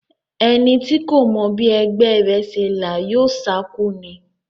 Ẹni tí kò mọ bí ẹgbẹ́ rẹ̀ ṣe là yóò sákú ni.